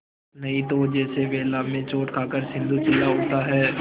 नहीं तो जैसे वेला में चोट खाकर सिंधु चिल्ला उठता है